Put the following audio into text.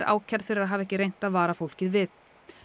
ákærð fyrir að hafa ekki reynt að vara fólkið við